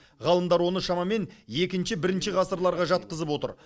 ғалымдар оны шамамен екінші бірінші ғасырларға жатқызып отыр